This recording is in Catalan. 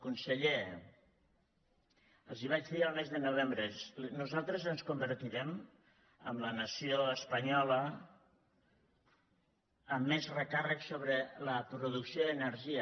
conseller els ho vaig dir el mes de novembre nosaltres ens convertirem en la nació espanyola amb més recàrrec sobre la producció d’energia